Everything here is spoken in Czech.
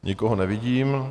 Nikoho nevidím.